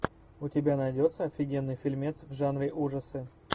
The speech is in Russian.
у тебя найдется офигенный фильмец в жанре ужасы